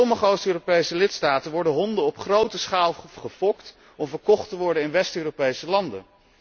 In sommige Oost Europese lidstaten worden honden op grote schaal gefokt om verkocht te worden in West Europese landen.